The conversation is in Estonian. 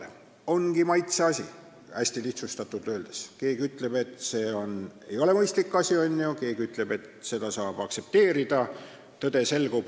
See ongi maitseasi, hästi lihtsustatult öeldes, keegi ütleb, et see ei ole mõistlik, keegi ütleb, et seda saab aktsepteerida.